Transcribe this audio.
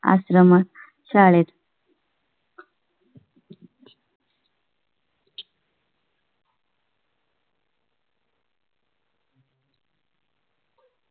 आश्रमात शाळेत